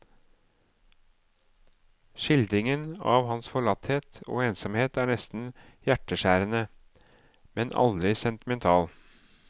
Skildringen av hans forlatthet og ensomhet er nesten hjerteskjærende, men aldri sentimental.